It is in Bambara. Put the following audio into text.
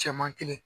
Cɛman kelen